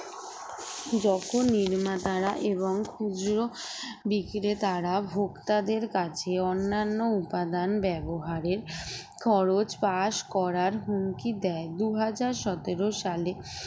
যখন নির্মাতারা এবং খুচরা বিক্রেতারা ভোক্তাদের কাছে অন্যান্য উপাদান ব্যবহারের খরচ pass করার হুমকি দেয় দুই হাজার সতেরো সালে